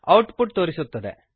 out ಪುಟ್ ತೋರಿಸುತ್ತದೆ